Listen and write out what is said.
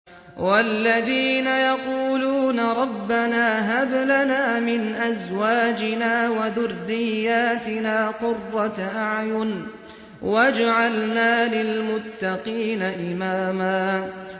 وَالَّذِينَ يَقُولُونَ رَبَّنَا هَبْ لَنَا مِنْ أَزْوَاجِنَا وَذُرِّيَّاتِنَا قُرَّةَ أَعْيُنٍ وَاجْعَلْنَا لِلْمُتَّقِينَ إِمَامًا